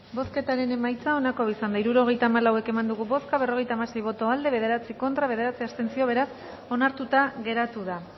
bozketaren emaitza onako izan da hirurogeita hamalau eman dugu bozka berrogeita hamasei boto aldekoa bederatzi contra bederatzi abstentzio beraz onartuta geratu da